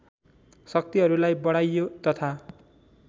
शक्तिहरूलाई बढाइयो तथा